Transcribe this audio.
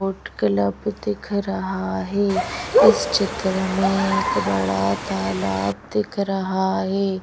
Boat club दिख रहा है इस चित्र में एक बड़ा तालाब दिख रहा है।